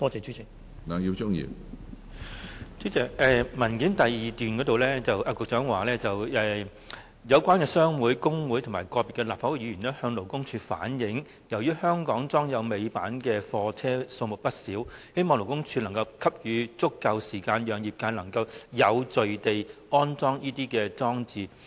主席，局長在主體答覆第二部分提到，有關商會、工會及個別立法會議員向勞工處反映由於香港裝有尾板的貨車數目不少，希望勞工處能夠給予足夠時間，讓業界能有序地安裝這些裝置。